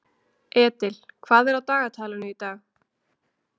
Edil, hvað er á dagatalinu í dag?